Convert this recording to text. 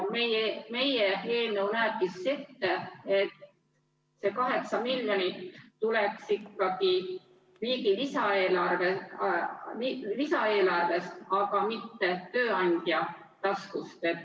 Meie eelnõu näebki ette, et see 8 miljonit tuleks ikkagi riigi lisaeelarvest, aga mitte tööandja taskust.